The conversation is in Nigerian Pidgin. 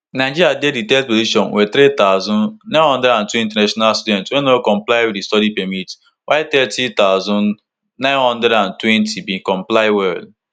nigeriadey di third position wit three thousand, nine hundred and two international students wey no comply wit di study permit while thirty thousand, nine hundred and twenty bin comply well